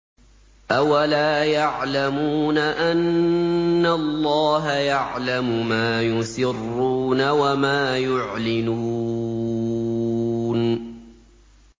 أَوَلَا يَعْلَمُونَ أَنَّ اللَّهَ يَعْلَمُ مَا يُسِرُّونَ وَمَا يُعْلِنُونَ